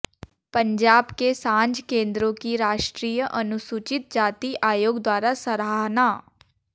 पंजाब के सांझ केंद्रों की राष्ट्रीय अनुसूचित जाति आयोग द्वारा सराहना